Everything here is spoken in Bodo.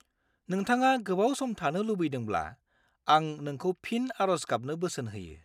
नोंथाङा गोबाव सम थानो लुबैदोंब्ला, आं नोंखौ फिन आरज गाबनो बोसोन होयो।